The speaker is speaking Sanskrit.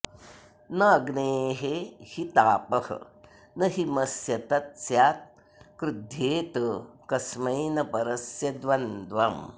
न अग्नेः हि तापः न हिमस्य तत् स्यात् क्रुध्येत कस्मै न परस्य द्वन्द्वम्